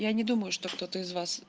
я не думаю что кто-то из вас